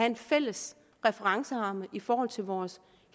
en fælles referenceramme i forhold til vores